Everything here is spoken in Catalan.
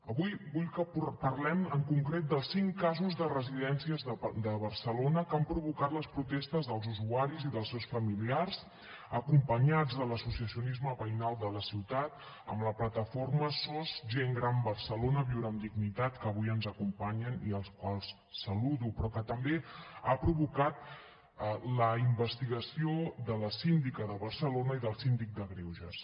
avui vull que parlem en concret dels cinc casos de residències de barcelona que han provocat les protestes dels usuaris i dels seus familiars acompanyats de l’associacionisme veïnal de la ciutat amb la plataforma sos gent gran barcelona viure amb dignitat que avui ens acompanyen i als quals saludo però que també han provocat la investigació de la síndica de barcelona i del síndic de greuges